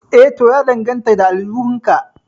Eh to ya danganta da aljihun ka